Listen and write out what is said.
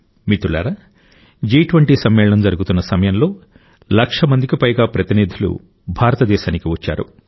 మిత్రులారా జి20 సమ్మేళనం జరుగుతున్న సమయంలో లక్షమందికి పైగా ప్రతినిధులు భారతదేశానికి వచ్చారు